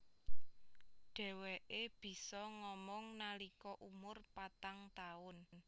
Dheweke bisa ngomong nalika umur patang taun